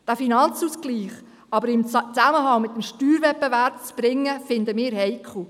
Den Finanzausgleich aber in Zusammenhang mit dem Steuerwettbewerb zu bringen, finden wir heikel.